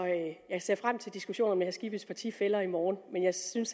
jeg ser frem til diskussioner med herre skibbys partifæller i morgen men jeg synes